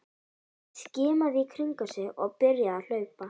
Hann skimaði í kringum sig og byrjaði að hlaupa.